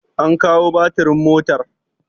an kawo batirin motar!